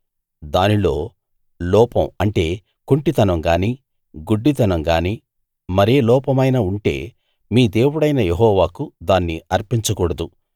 దానిలో లోపం అంటే కుంటితనం గాని గుడ్డితనం గాని మరే లోపమైనా ఉంటే మీ దేవుడైన యెహోవాకు దాన్ని అర్పించకూడదు